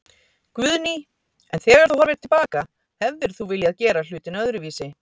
Guðný: En þegar þú horfir til baka, hefðir þú viljað gera hlutina öðruvísi?